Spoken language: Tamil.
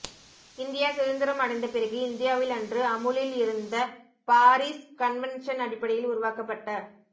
இந்தியா சுதந்திரம் அடைந்த பிறகு இந்தியாவில் அன்று அமுலில் இருந்த பாரிஸ் கன்வென்ஷன் அடிப்படையில் உருவாக்கப்பட்ட